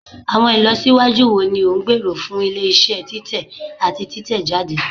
Awọn ilọsiwaju wo ni o ngbero fun ile-iṣẹ titẹ ati titẹjade?